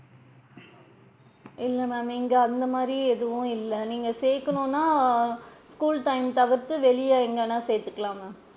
இல்ல ma'am இங்க அந்த மாதிரி எதுவும் இல்ல நீங்க சேக்கனும்னா, school time தவிர்த்து வெளில எங்கனாவது சேத்துக்கலாம் ma'am.